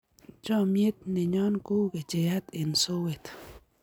chamiet ne nyo ko u kecheyat eng' sowet